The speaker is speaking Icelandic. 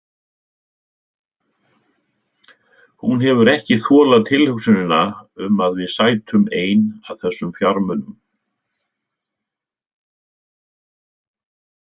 Hún hefur ekki þolað tilhugsunina um að við sætum ein að þessum fjármunum.